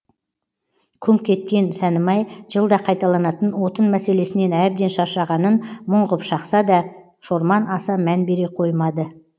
күңк еткен сәнімай жылда қайталанатын отын мәселесінен әбден шаршағанын мұң ғып шақса да шорман аса мән бере қоймады